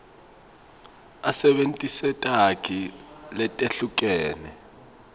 asebentise takhi letehlukene